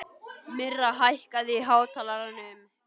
Myrra, hækkaðu í hátalaranum.